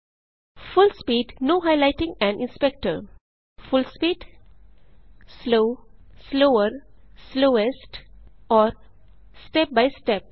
full speed full speed slow slower slowest और step by step